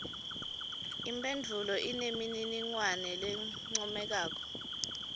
imphendvulo inemininingwane lencomekako